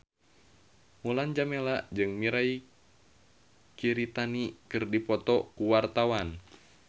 Mulan Jameela jeung Mirei Kiritani keur dipoto ku wartawan